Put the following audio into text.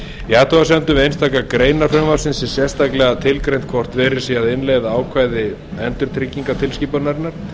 í athugasemdum við einstaka greinar frumvarpsins er sérstaklega tilgreint hvort verið sé að innleiða ákvæði endurtryggingatilskipunarinnar